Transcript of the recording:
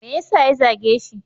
Me yasa ya zage shi?